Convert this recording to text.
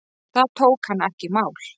Það tók hann ekki í mál.